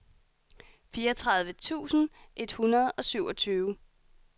fireogtredive tusind et hundrede og syvogtyve